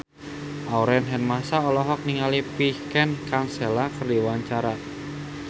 Aurel Hermansyah olohok ningali Vincent Cassel keur diwawancara